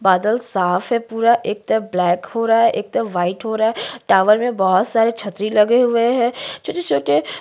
बादल साफ़ है पूरा एक तरफ ब्लैक हो रहा है एक तरफ वाइट हो रहा है टावर में बहुत सारे छतरी लगे हुए हैं छोटे-छोटे --